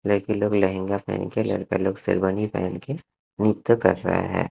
Black colour के लहंगा पहन के लड़के लोग शेरवानी पहन के नृत्य कर रहे है।